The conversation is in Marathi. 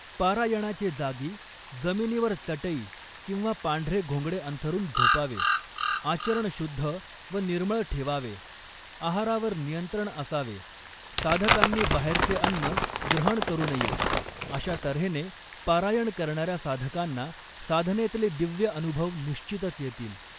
पारायणाचे जागी जमिनीवर चटई किंवा पांढरे घोंगडे अंथरून झोपावे़ आचरण शुद्ध व निर्मळ ठेवावे़ आहारावर नियंत्रण असावे़ साधकांनी बाहेरचे अन्न ग्रहण करू नये़ अशातऱ्हेने पारायण करणाऱ्या साधकांना साधनेतले दिव्य अनुभव निश्चितच येतील़